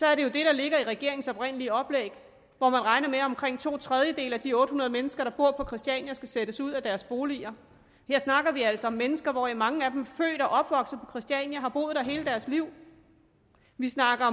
er det der ligger i regeringens oprindelige oplæg hvor man regner med at omkring to tredjedele af de otte hundrede mennesker der bor på christiania skal sættes ud af deres boliger her snakker vi altså om mennesker hvoraf mange er født og opvokset på christiania og har boet der hele deres liv vi snakker